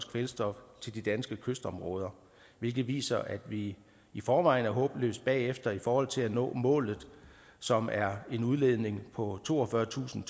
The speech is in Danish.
kvælstof til de danske kystområder hvilket viser at vi i forvejen er håbløst bagefter i forhold til at nå målet som er en udledning på toogfyrretusind